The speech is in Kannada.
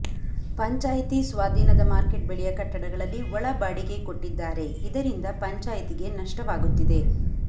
ಪಂಚಾಯಿತಿ ಸ್ವಾದೀನದ ಮಾರ್ಕೆಟ್ ಬಳಿಯ ಕಟ್ಟಡಗಳಲ್ಲಿ ಒಳ ಬಾಡಿಗೆ ಕೊಟ್ಟಿದ್ದಾರೆ ಇದರಿಂದ ಪಂಚಾಯಿತಿಗೆ ನಷ್ಟವಾಗುತ್ತಿದೆ